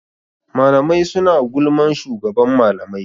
Mlamai suna gulman shugaban malamai.